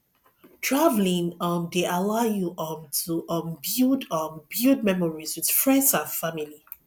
traveling um dey allow you um to um build um build memories with friends and family